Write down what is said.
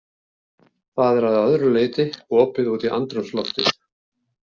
Það er að öðru leyti opið út í andrúmsloftið.